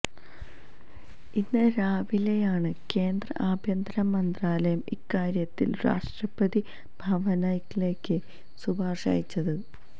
ഇന്ന് രാവിലെയാണ് കേന്ദ്ര ആഭ്യന്തര മന്ത്രാലയം ഇക്കാര്യത്തില് രാഷ്ട്രപതി ഭവനിലേക്ക് ശുപാര്ശ അയച്ചത്